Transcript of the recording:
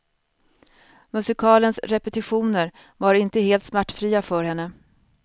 Musikalens repetitioner var inte helt smärtfria för henne.